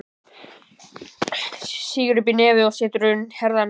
Sýgur upp í nefið og setur í herðarnar.